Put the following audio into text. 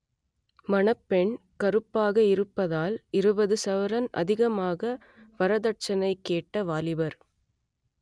மணப்பெண் கருப்பாக இருப்பதால் இருபது சவரன் அதிகமாக வரதட்சனை கேட்ட வாலிபர்